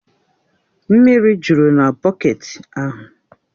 Mmiri jụrụ na bọketi ahụ